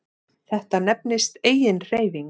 Þetta nefnist eiginhreyfing.